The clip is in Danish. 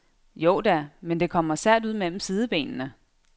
Jo da, men det kommer sært ud mellem sidebenene.